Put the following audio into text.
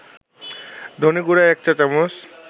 ধনেগুঁড়া ১ চা-চামচ